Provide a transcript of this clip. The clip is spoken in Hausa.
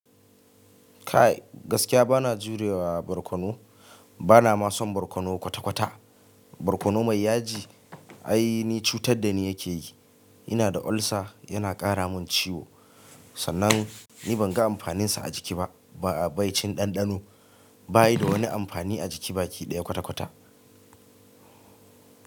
Kai gaskiya bana jurewa barkono, bana ma son barkono kwata kwata. Barkono mai yaji ai ni cutar da ni yake yi, ina da ulcer yana ƙara mun ciwo, sannan ni ban ga amfaninsa a jiki ba, ba a bai cin ɗanɗano bayi da wani amfani a jiki baki ɗaya kwata kwata.